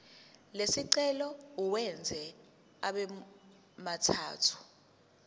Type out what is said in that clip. lesicelo uwenze abemathathu